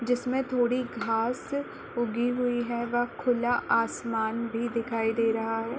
जिसमे थोड़ी घास ऊगी हुई है वह खुला आसमान भी दिखाई दे रहा है।